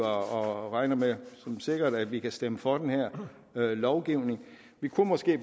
og regner det som sikkert at vi kan stemme for den her lovgivning vi kunne måske